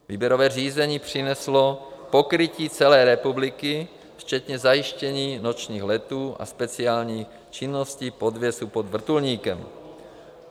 Výběrové řízení přineslo pokrytí celé republiky včetně zajištění nočních letů a speciální činnosti, podvěsu pod vrtulníkem.